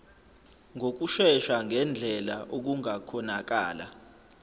ngokushesha ngendlela okungakhonakala